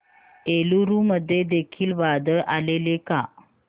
एलुरू मध्ये देखील वादळ आलेले का